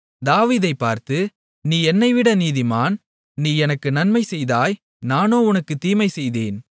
தாவீதைப் பார்த்து நீ என்னைவிட நீதிமான் நீ எனக்கு நன்மை செய்தாய் நானோ உனக்கு தீமை செய்தேன்